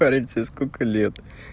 парень тебе сколько лет